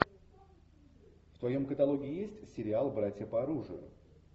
в твоем каталоге есть сериал братья по оружию